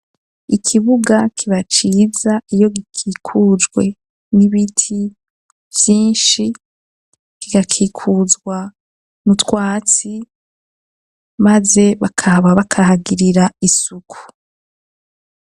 Ikibuga kiba ciza iyo gikikujwe n'ibiti vyinshi kigakikuzwa n’utwatsi maze bakaba bakahagirira isuku.